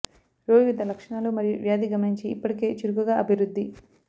రోగి వివిధ లక్షణాలు మరియు వ్యాధి గమనించి ఇప్పటికే చురుకుగా అభివృద్ధి